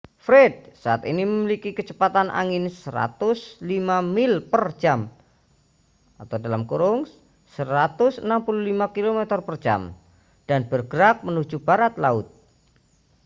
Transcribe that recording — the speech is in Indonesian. fred saat ini memiliki kecepatan angin 105 mil per jam 165 km/jam dan bergerak menuju barat laut